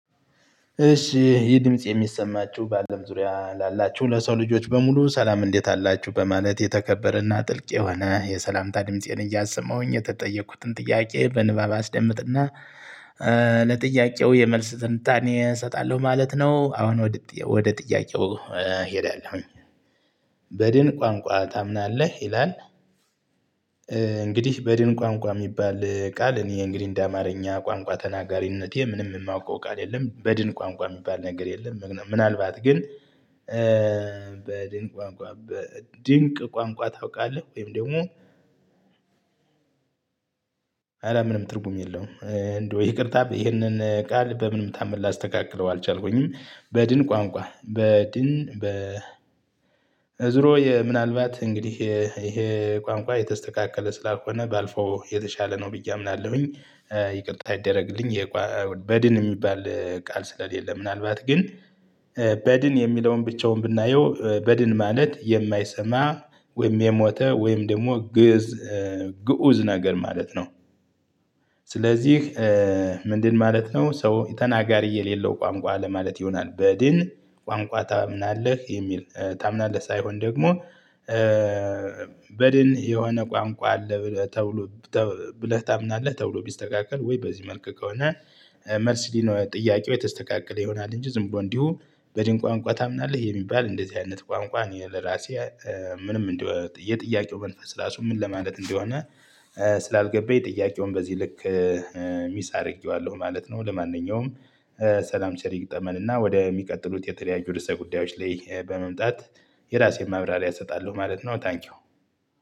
እሺ ይህ ድምጽ የሚሰማችሁ ባለም ዙሪያ ላላችሁ ለሰው ልጆች በሙሉ ሰላም እንዴት አላችሁ በማለት የተከበረና ጥልቅ የሆነ የሰላምታ ድምፄን እያሰማሁኝ የተጠየኩትን ጥያቄ በንባብ አስደምጥና ለጥያቄው የመልስ ትንታኔ እሰጣለሁ ማለት ነው። አሁን ወደ ጥ ጥያቄው እሄዳለሁ በድን ቋንቋ ታምናለህ ይላል? እንግዲህ በድን ቋንቋ ሚባል ቃል እኔ እንግዲህ እንደ አማርኛ ቋንቋ ተናጋሪነቴ ምንም ማውቀው ቃል የለም በድን ቋንቋ የሚባል ነገር የለም። ም ምናልባት ግን በድን ቋንቋ በድንቅ ቋንቋ ታውቃለህ ወይም ደግሞ? አላምንም ትርጉም የለውም። እንደው ይቅርታ ይህንን ቃል በምንም ታመር ላስተካክለው አልቻልኩኝም። በድን ቋንቋ በድን በ በዝሮ ምናልባት እንግዲህ ይሄ ቋንቋ የተስተካከለ ስላልሆነ ባልፈው የተሻለ ነው ብዬ አምናለሁኝ። ይቅርታ ይደረግልኝ ይ በድን ሚባል ቃል ስለሌለ ምናልባት ግን በድን የሚለውን ብቻውን ብናየው በድን ማለት የማይሰማ ወይም የሞተ ወይም ደግሞ ግእ ግኡዝ ነገር ማለት ነው። ስለዚህ ምንድን ማለት ነው ሰው ተናጋሪ የሌለው ቋንቋ ለማለት ይሆናል። በድን ቋንቋ ታምናለህ የሚል ታምናለህ ሳይሆን ደግሞ በድን የሆነ ቋንቋ አለ ተብሎ ተ ብለህ ታምናለህ ተብሎ ቢስተካከል ወይ በዚህ መልክ ከሆነ። መርሲሊ ነው ጥያቄው የተስተካከለ ይሆናል። እንጂ ዝም ብሎ እንዲሁ በድን ቋንቋ ታምናለህ የሚባል እንደዚህ አይነት ቋንቋ እኔ ለራሴ ምንም እንደ የጥያቄው መንፈስ ራሱ ምን ለማለት እንደሆነ ስላልገባኝ ጥያቄውን በዚህ ልክ ሚስ አርጌዋለሁ ማለት ነው። ለማንኛውም ሰላም ቸር ይግጠመን እና ወደ ሚቀጥሉት የተለያዩ ርዕሰ ጉዳዮች ላይ በመምጣት። የራሴን ማብራሪያ እሰጣለሁ ማለት ነው። ታንኪው